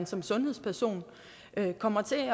som sundhedsperson kommer til